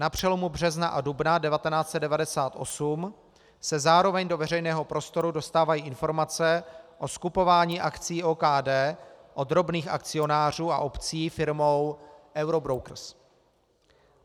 Na přelomu března a dubna 1998 se zároveň do veřejného prostoru dostávají informace o skupování akcií OKD od drobných akcionářů a obcí firmou Eurobrokers.